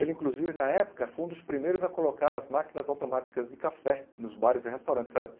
Ele, inclusive, na época, foi um dos primeiros a colocar as máquinas automáticas de café nos bares e restaurantes.